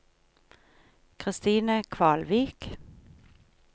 Kristine Kvalvik